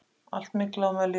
Allt myglað og mölétið!